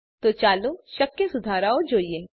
તો ચાલો શક્ય સુધારાઓ જોઈએ